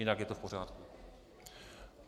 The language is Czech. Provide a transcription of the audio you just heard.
Jinak je to v pořádku.